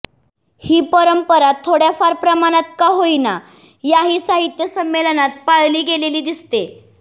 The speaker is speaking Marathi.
ही परंपरा थोड्याफार प्रमाणात का होईना याही साहित्य संमेलनात पाळली गेलेली दिसते